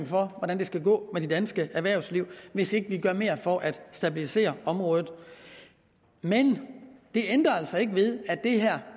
for hvordan det skal gå med det danske erhvervsliv hvis ikke vi gør mere for at stabilisere området men det ændrer altså ikke ved at det her